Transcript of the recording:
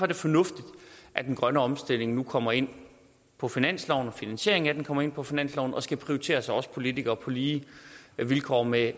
det fornuftigt at den grønne omstilling nu kommer ind på finansloven at finansieringen af den kommer ind på finansloven og skal prioriteres af os politikere på lige vilkår med